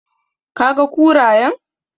Did you see the hyenas?